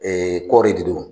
kɔɔri de do.